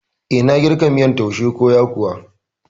Eh, nayi girka miyan taushe ko yakuwa